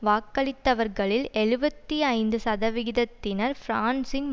வாக்களித்தவர்களில் எழுபத்தி ஐந்து சதவிகிதத்தினர் பிரான்சின்